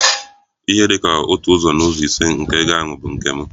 Ihe dị ka otu ụzọ n'ụzọ ise nke ego ahụ bụ nke m.